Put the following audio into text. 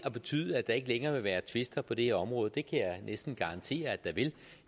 at betyde at der ikke længere vil være tvister på det her område det kan jeg næsten garantere at der vil